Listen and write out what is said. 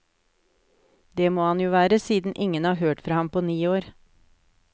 Det må han jo være, siden ingen har hørt fra ham på ni år.